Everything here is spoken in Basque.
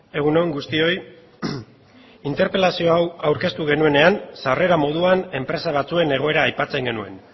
egun on guztioi interpelazio hau aurkeztu genuenean sarrera moduan enpresa batzuen egoera aipatzen genuen